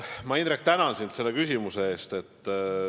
Ma, Indrek, tänan sind selle küsimuse eest!